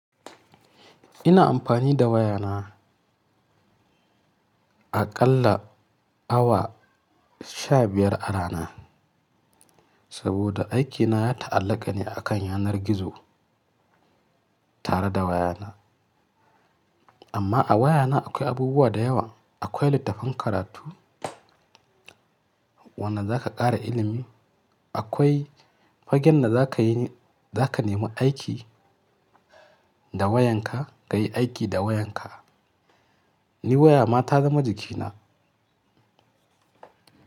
Ina amfani da wayana aƙalla awa sha biyar a rana, saboda aikina ya ta'allaka ne akan yanar gizo tare da wayana. Amma a wayana akwai abubuwa da yawa. Akwai littattafan karatu wanda za ka ƙara ilimi, akwai fagen da za ka yi, za ka nemi aiki da wayanka ka yi aiki da wayanka. Ni waya ma ta zama jikina.